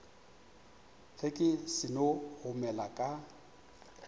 ge ke seno gomela ka